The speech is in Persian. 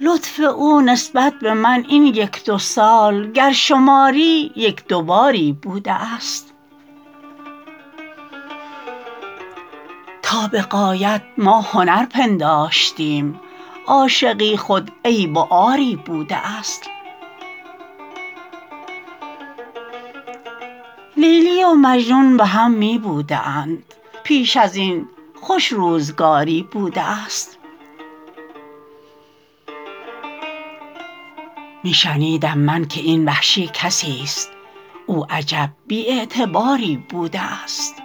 لطف او نسبت به من این یک دو سال گر شماری یک دوباری بوده است تا به غایت ما هنر پنداشتیم عاشقی خود عیب و عاری بوده است لیلی و مجنون به هم می بوده اند پیش ازین خوش روزگاری بوده است می شنیدم من که این وحشی کسیست او عجب بی اعتباری بوده است